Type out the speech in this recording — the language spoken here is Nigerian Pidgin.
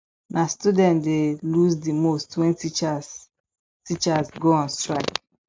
na students dey lose di most when teachers teachers go on strike